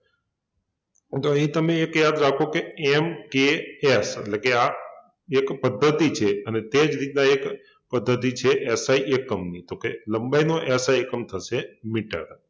જો અહિં તમે એક યાદ રાખો કે MKS એટલે કે આ એક પદ્ધતિ છે અને તે જ રીતના એક પદ્ધતિ છે SI એકમની તો કે લંબાઈનો SI એકમ થશે મીટર